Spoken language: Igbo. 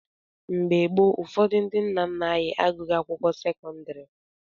Mgbe gboo, ụfọdụ ndị nna nna anyị agụghị akwụkwọ sekọndrị.